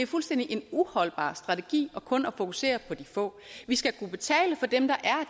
fuldstændig uholdbar strategi kun at fokusere på de få vi skal kunne betale for dem der er